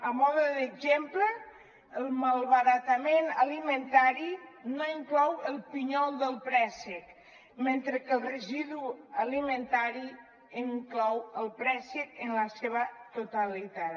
a mode d’exemple el malbaratament alimentari no inclou el pinyol del préssec mentre que el residu alimentari inclou el préssec en la seva totalitat